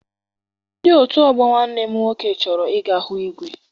Ndị otu ọgbọ nwanne m nwoke chọrọ I ga hụ igwe.